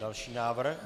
Další návrh.